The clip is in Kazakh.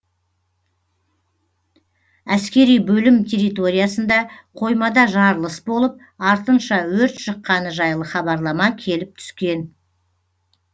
әскери бөлім территориясында қоймада жарылыс болып артынша өрт шыққаны жайлы хабарлама келіп түскен